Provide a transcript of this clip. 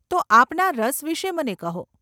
તો આપના રસ વિષે મને કહો.